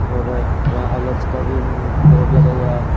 और यहां अलर्ट्स का भी बोर्ड लगा हुआ है.